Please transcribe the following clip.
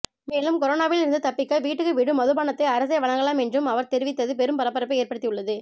மேலும் கொரோனாவில் இருந்து தப்பிக்க வீட்டுக்கு வீடு மதுபானத்தை அரசே வழங்கலாம் என்றும் அவர் தெரிவித்து பெரும் பரபரப்பை ஏற்படுத்தியுள்ளது